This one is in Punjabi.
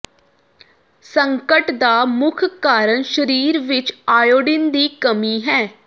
ਸੰਕਟ ਦਾ ਮੁੱਖ ਕਾਰਨ ਸਰੀਰ ਵਿੱਚ ਆਇਓਡੀਨ ਦੀ ਕਮੀ ਹੈ